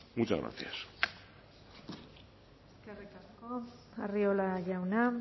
muchas gracias eskerrik asko arriola jauna